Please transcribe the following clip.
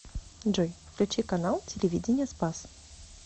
джой включи канал телевидения спас